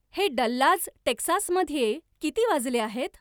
हे डल्लाज टेक्सासमध्ये किती वाजले आहेत